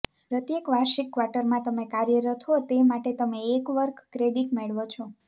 પ્રત્યેક વાર્ષિક ક્વાર્ટરમાં તમે કાર્યરત હો તે માટે તમે એક વર્ક ક્રેડિટ મેળવો છો